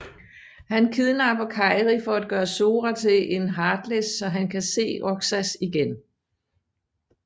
Han kidnapper Kairi for at gøre Sora til en Heartless så han kan se Roxas igen